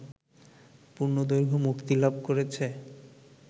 পূর্ণ দৈর্ঘ্যে মুক্তিলাভ করেছে